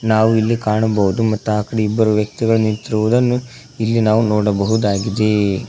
ನಾವು ಇಲ್ಲಿ ಕಾಣಬಹುದು ಮತ್ತು ಆ ಕಡೆ ಇಬ್ಬರು ವ್ಯಕ್ತಿಗಳು ನಿಂತಿರುವುದನ್ನು ಇಲ್ಲಿ ನಾವು ನೋಡಬಹುದಾಗಿದೆ.